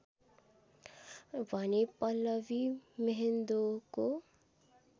भने पल्लभी म्हेन्दोको